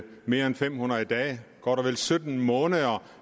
mere end fem hundrede dage godt og vel sytten måneder